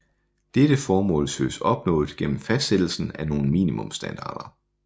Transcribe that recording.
Dette formål søges opnået gennem fastsættelsen af nogle minimumsstandarder